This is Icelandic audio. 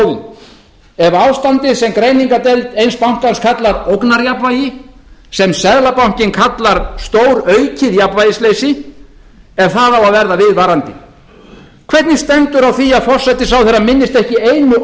móðinn ef ástandið sem greiningardeild eins bankans kallar ógnarjafnvægi sem seðlabankinn kallar stóraukið jafnvægisleysi ef það á að verða viðvarandi hvernig stendur á því að forsætisráðherra minnist ekki einu